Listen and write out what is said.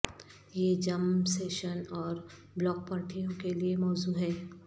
یہ gym session اور block پارٹیوں کے لئے موزوں ہے